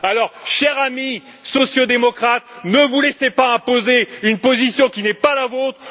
Alors, chers amis sociaux démocrates, ne vous laissez pas imposer une position qui n'est pas la vôtre.